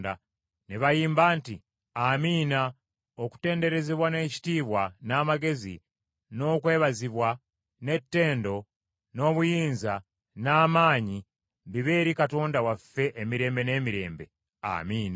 Ne bayimba nti, “Amiina! Okutenderezebwa, n’ekitiibwa, n’amagezi, n’okwebazibwa, n’ettendo, n’obuyinza, n’amaanyi, bibe eri Katonda waffe emirembe n’emirembe. Amiina!”